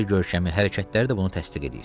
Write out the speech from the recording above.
Zahiri görkəmi hərəkətlər də bunu təsdiq edir.